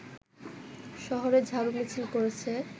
শহরে ঝাড়ুমিছিল করেছে